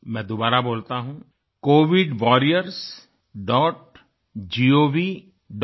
मैं दोबारा बोलता हूँ covidwarriorsgovin